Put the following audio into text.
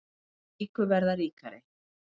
Þeir ríku verða ríkari